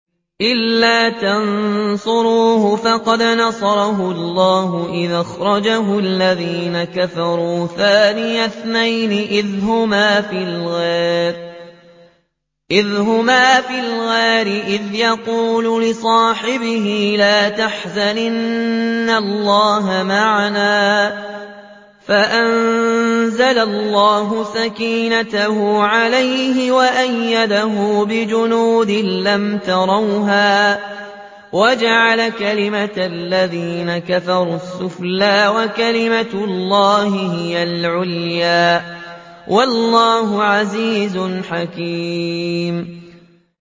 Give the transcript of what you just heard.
إِلَّا تَنصُرُوهُ فَقَدْ نَصَرَهُ اللَّهُ إِذْ أَخْرَجَهُ الَّذِينَ كَفَرُوا ثَانِيَ اثْنَيْنِ إِذْ هُمَا فِي الْغَارِ إِذْ يَقُولُ لِصَاحِبِهِ لَا تَحْزَنْ إِنَّ اللَّهَ مَعَنَا ۖ فَأَنزَلَ اللَّهُ سَكِينَتَهُ عَلَيْهِ وَأَيَّدَهُ بِجُنُودٍ لَّمْ تَرَوْهَا وَجَعَلَ كَلِمَةَ الَّذِينَ كَفَرُوا السُّفْلَىٰ ۗ وَكَلِمَةُ اللَّهِ هِيَ الْعُلْيَا ۗ وَاللَّهُ عَزِيزٌ حَكِيمٌ